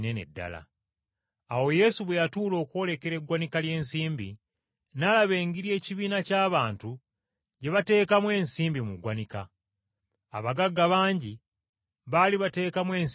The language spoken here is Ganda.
Awo Yesu bwe yatuula okwolekera eggwanika ly’ensimbi, n’alaba engeri ekibiina ky’abantu gye bateekamu ensimbi mu ggwanika. Abagagga bangi baali bateekamu ensimbi nnyingi.